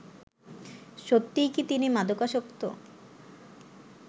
সত্যিই কি তিনি মাদকাসক্ত